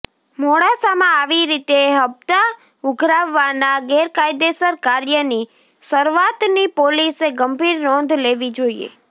મોડાસામાં આવી રીતે હપ્તા ઉઘરાવવાના ગેરકાયદેસર કાર્યની શરૂઆતની પોલીસે ગંભીર નોંધ લેવી જોઇએ